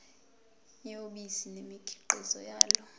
yobisi nemikhiqizo yalo